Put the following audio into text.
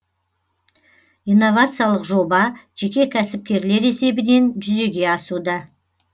инновациялық жоба жеке кәсіпкерлер есебінен жүзеге асуда